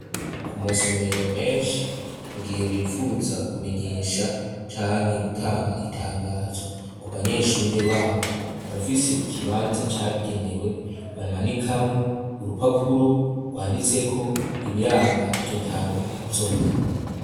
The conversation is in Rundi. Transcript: Ku masomero menshi mu gihe bipfuza kumenyesha canke gutanga itangazo ku banyeshuri babo barafise ikibanza cabigenewe bamanikamwo urupapuro rwanditseko ibiranga iryo tangazo.